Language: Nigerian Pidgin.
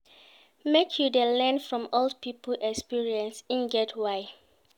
Make you dey learn from old pipo experience, e get why.